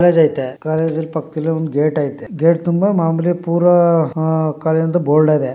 College ಐತೆ college ಪಕ್ಕದಲ್ಲಿ ಒಂದು ಗೇಟ್ ಐತೆ ಗೇಟ್ ತುಂಬಾ ಮಾಮೂಲಿ ಪೂರಾ ಕಾಲೇಜು ದು ಬೋರ್ಡ್ ಅದೆ.